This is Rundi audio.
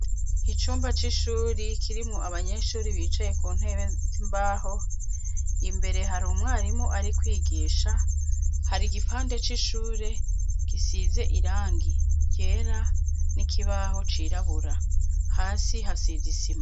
Icumba c'ishuri kirimwo abanyeshure bicaye ku ntebe z'imbaho. Imbere hari umwarimu ari kwigisha, hari igipande c'ishuri gisize irangi ryera n'ikibaho cirabura, hasi hasize isima.